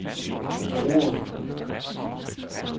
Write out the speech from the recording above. forbrugere